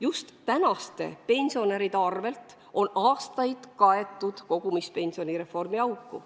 Just tänaste pensionäride arvel on aastaid kaetud kogumispensionireformi auku.